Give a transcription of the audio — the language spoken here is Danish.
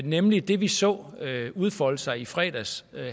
nemlig det vi så udfolde sig i fredags